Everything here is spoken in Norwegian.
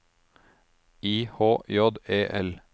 I H J E L